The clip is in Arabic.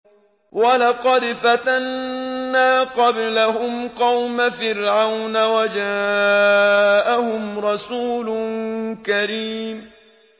۞ وَلَقَدْ فَتَنَّا قَبْلَهُمْ قَوْمَ فِرْعَوْنَ وَجَاءَهُمْ رَسُولٌ كَرِيمٌ